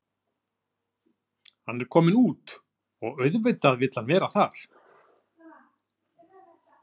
Hann er kominn út og auðvitað vill hann vera þar.